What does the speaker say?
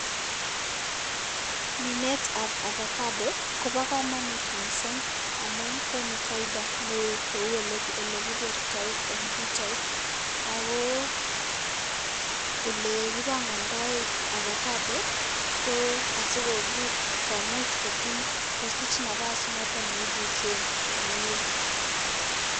Minetab avacado kobo kamanut mising amun konu faida neo kou olekikertoi eng pichait ako ole kipangandoi avacado ko asikopur komuch kotinye kosich nafas noto ne ipuse komnye.